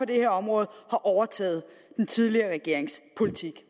det her område har overtaget den tidligere regerings politik